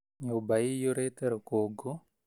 Nyũmba ĩyũrĩte rũkũngũ